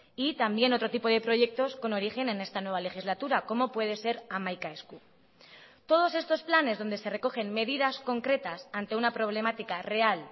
y también otro tipo de proyectos con origen en esta nueva legislatura como puede ser hamaika esku todos estos planes donde se recogen medidas concretas ante una problemática real